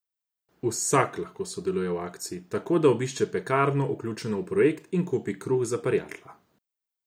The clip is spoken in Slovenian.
Vsak lahko sodeluje v akciji, tako da obišče pekarno, vključeno v projekt, in kupi Kruh za prjatla.